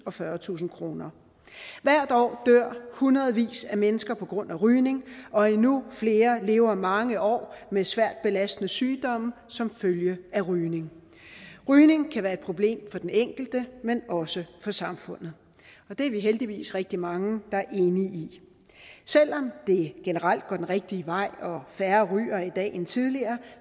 og fyrretusind kroner hvert år dør hundredvis af mennesker på grund af rygning og endnu flere lever mange år med svært belastende sygdomme som følge af rygning rygning kan være et problem for den enkelte men også for samfundet det er vi heldigvis rigtig mange der er enige i selv om det generelt går den rigtige vej og færre ryger i dag end tidligere